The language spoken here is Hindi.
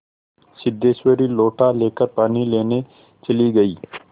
सिद्धेश्वरी लोटा लेकर पानी लेने चली गई